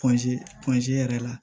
yɛrɛ la